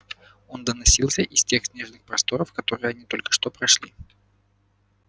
он доносился из тех снежных просторов которые они только что прошли